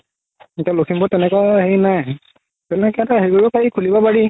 এতিয়া লখিমপুৰত তেনেকুৱা হেৰি নাই তেনেকে এটা হেৰি কৰিব পাৰি খুলিব পাৰি